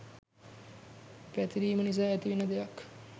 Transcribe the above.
පැතිරීම නිසා ඇතිවෙන දෙයක්.